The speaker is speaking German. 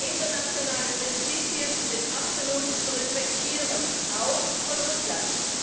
Internationale Prinzipien sind absolut zu respektieren, auch von Russland.